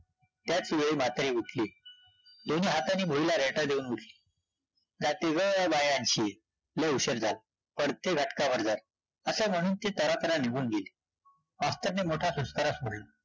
त्याचवेळी म्हातारी उठली, दोन्ही हातानी भुईला रेटा देऊन उठली, जाते गं बया अन्शी, लै उशीर झाला, पडते घटकाभर जरा, असे म्हणून ती तरातरा निघून गेली, मास्तरने मोठा सुस्कारा सोडला